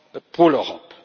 pour l'Europe.